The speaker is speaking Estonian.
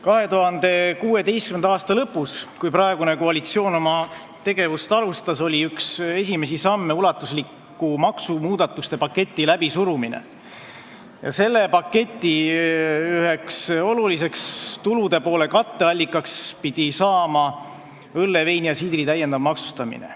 2016. aasta lõpus, kui praegune koalitsioon oma tegevust alustas, oli üks esimesi samme ulatusliku maksumuudatuste paketi läbisurumine ja selle paketi tulupoole üheks oluliseks katteallikaks pidi saama õlle, veini ja siidri täiendav maksustamine.